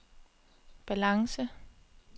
balance